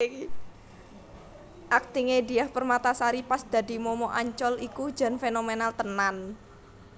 Akting e Diah Permatasari pas dadi momok Ancol iku jan fenomenal tenan